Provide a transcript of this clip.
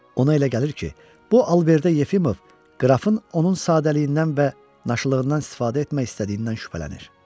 Ona elə gəlir ki, bu alış-verişdə Yefimov qrafın onun sadəliyindən və naşılığından istifadə etmək istədiyindən şübhələnir.